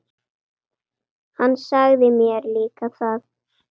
Hann sagði mér líka að